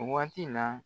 Waati la